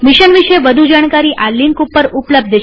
mission વિષે વધુ જાણકારી આ લિંક ઉપર ઉપલબ્ધ છે